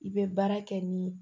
I bɛ baara kɛ ni